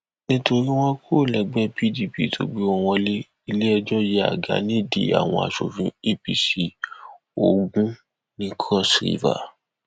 nítorí wọn kúrò lẹgbẹ pdp tó gbé wọn wọlẹ iléẹjọ yẹ àga nídìí àwọn aṣòfin apc ogun ní cross river